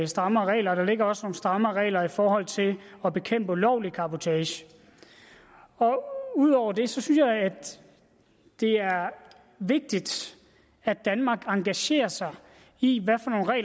strammere regler og der ligger også strammere regler i forhold til at bekæmpe ulovlig cabotage udover det synes jeg at det er vigtigt at danmark engagerer sig i